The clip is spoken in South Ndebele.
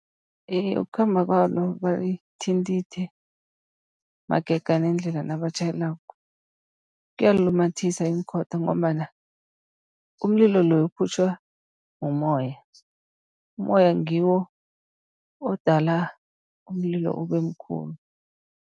Iye, ukukhamba kwalo balithindithe magega nendlela nabatjhayelako kuyalilumathisa iinkhotha, ngombana umlilo loya uphutjhwa umoya, ummoya ngiwo odala umlilo ube mkhulu.